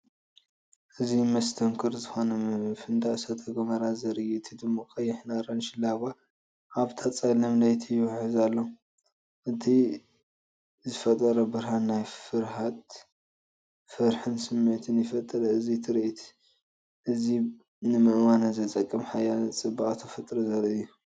እዚ መስተንክር ዝኾነ ምፍንዳእ እሳተ ጎመራ ዘርኢ እዩ። እቲ ድሙቕ ቀይሕን ኣራንሺን ላቫ ኣብታ ጸላም ለይቲ ይውሕዝ ኣሎ። እቲ ዝፈጥሮ ብርሃን ናይ ፍርሃትን ፍርሕን ስምዒት ይፈጥር። እዚ ትርኢት እዚ ንምእማኑ ዘጸግም ሓይልን ጽባቐን ተፈጥሮ ዘርኢ እዩ።